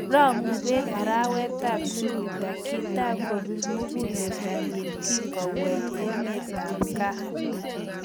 Rang'u peek arawetap Jupiter, kitai kopiir muguleldonyi kingoweek emetapgaa